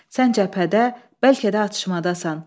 Sən cəbhədə, bəlkə də atışmadasan.